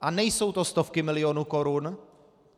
A nejsou to stovky milionů korun.